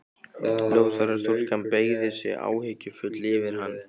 Ljóshærða stúlkan beygði sig áhyggjufull yfir hann.